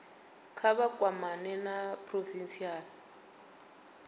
kha vha kwamane na provincial